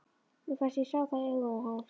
Mér fannst ég sjá það í augum hans.